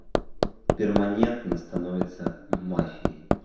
перманентно становится мафией